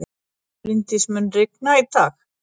Bryndís, mun rigna í dag?